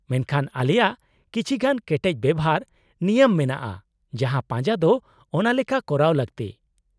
-ᱢᱮᱱᱠᱷᱟᱱ , ᱟᱞᱮᱭᱟᱜ ᱠᱤᱪᱷᱤ ᱜᱟᱱ ᱠᱮᱴᱮᱡ ᱵᱮᱣᱦᱟᱨᱼᱱᱤᱭᱚᱢ ᱢᱮᱱᱟᱜᱼᱟ ᱡᱟᱦᱟᱸ ᱯᱟᱡᱟ ᱫᱚ ᱚᱱᱟ ᱞᱮᱠᱟ ᱠᱚᱨᱟᱣ ᱞᱟᱠᱛᱤ ᱾